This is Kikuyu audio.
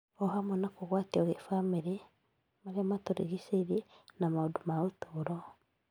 o hamwe na kũgwatio kĩbamĩrĩ, marĩa matũrigicĩirie na maũndũ ma ũtũũro.